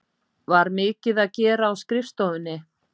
Var mikið að gera á skrifstofunni?